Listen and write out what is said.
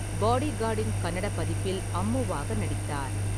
பாடிகார்டின் கன்னட பதிப்பில் அம்முவாக நடித்தார்.